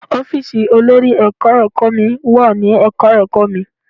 Ọ́fíìsì olórí Ẹ̀ka-ẹ̀kọ́ mi wà ní Ẹ̀ka-ẹ̀kọ́ mi.